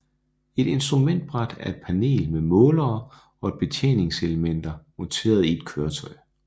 Et instrumentbræt er et panel med målere og betjeningselementer monteret i et køretøj